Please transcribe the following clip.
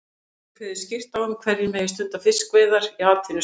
Með þessu er kveðið skýrt á um hverjir megi stunda fiskveiðar í atvinnuskyni.